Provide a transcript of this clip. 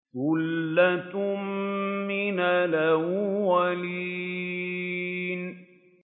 ثُلَّةٌ مِّنَ الْأَوَّلِينَ